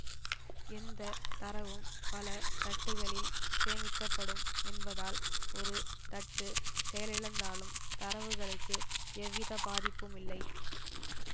எந்த தரவும் பல தட்டுகளில் சேமிக்கப்படும் என்பதால் ஒரு தட்டு செயலிழந்தாலும் தரவுகளுக்கு எவ்விதபாதிப்புமில்லை